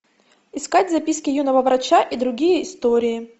искать записки юного врача и другие истории